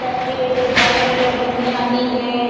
इधर पेड़ ओज बोहोत सारे लोग घूमने आती है।